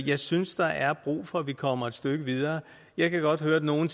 jeg synes der er brug for at vi kommer et stykke videre jeg kan godt høre at nogle